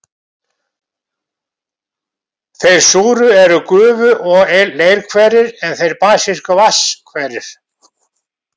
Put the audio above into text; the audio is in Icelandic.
Þeir súru eru gufu- og leirhverir, en þeir basísku vatnshverir.